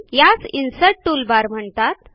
यांस insert toolbar म्हणतात